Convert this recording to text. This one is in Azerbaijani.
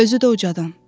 Özü də ucadan.